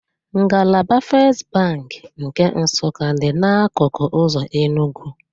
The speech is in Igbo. Ngalaba Fest Bank nke Nsụka dị n'akụkụ ụzọ Enugwu